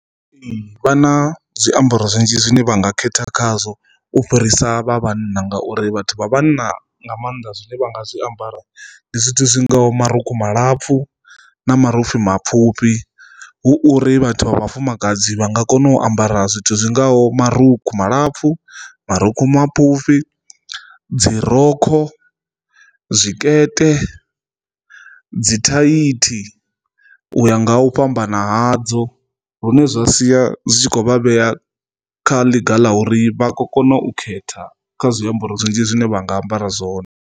Ee, vha na zwiambaro zwinzhi zwiṋe vha nga khetha khazwo u fhirisa vha vhanna ngauri vhathu vha vhanna nga maanḓa zwine vha nga zwiambara ndi zwithu zwingaho marukhu malapfu na marukhu mapfhufhi, hu uri vhathu vha vhafumakadzi vha nga kona u ambara zwithu zwingaho marukhu malapfu, marukhu mapfufhi, dzi rokho, zwikete, dzi thaithi u ya nga hu fhambana hadzo lune zwa sia zwi tshi kho vha vhea kha ḽiga ḽa uri vha khou kona u khetha kha zwiambaro zwinzhi zwine vha nga ambara zwone.